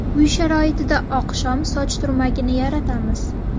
Uy sharoitida oqshom soch turmagini yaratamiz.